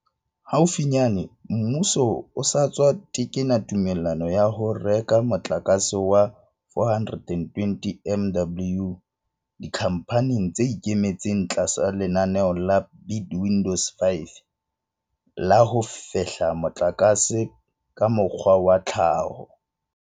Haufinyane, mmuso o sa tswa tekena tumellano ya ho reka motlakase wa 420 MW dikhamphaneng tse ikemetseng tlasa lenaneo la Bid Window 5 la ho fehla motlakase ka mokgwa wa tlhaho.